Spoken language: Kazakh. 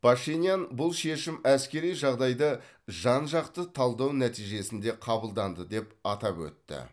пашинян бұл шешім әскери жағдайды жан жақты талдау нәтижесінде қабылданды деп атап өтті